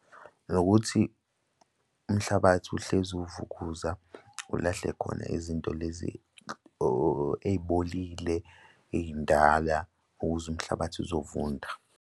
Nokuthi umhlabathi uhlezi uwuvukuzema ulahle khona izinto lezi ey'bolile ey'ndala ukuze umhlabathi uzovunda.